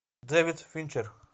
дэвид финчер